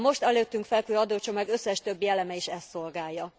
A most előttünk fekvő adócsomag összes többi eleme is ezt szolgálja.